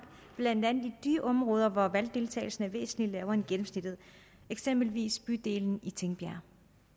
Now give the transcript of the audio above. blandt andet i de områder hvor valgdeltagelsen er væsentlig lavere end gennemsnittet eksempelvis i bydelen tingbjerg